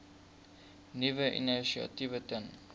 nuwe initiatiewe ten